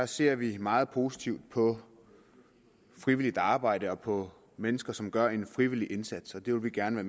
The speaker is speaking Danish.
ser vi meget positivt på frivilligt arbejde og på mennesker som gør en frivillig indsats og det vil vi gerne